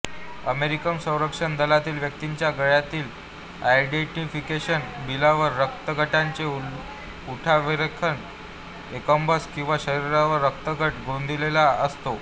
American संरक्षण दलातील व्यक्तींच्या गळ्यातील आयडेंटिफिकेशन बिल्ल्यावर रक्तगटाचे उठावरेखन एंबॉस किंवा शरीरावर रक्तगट गोंदलेला असतो